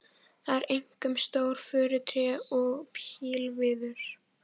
Það eru einkum stór furutré og pílviður.